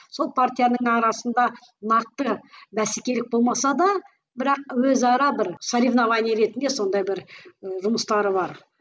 сол партияның арасында нақты бәсекелік болмаса да бірақ өзара бір соревнование ретінде сондай бір ііі жұмыстары бар